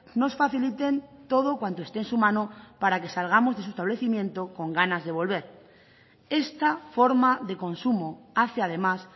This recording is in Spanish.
nos faciliten todo cuanto esté en su mano para que salgamos de su establecimiento con ganas de volver esta forma de consumo hace además